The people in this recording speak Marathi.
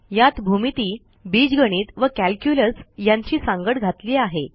यात भूमिती बीजगणित व कॅल्क्युलस यांची सांगड घातली आहे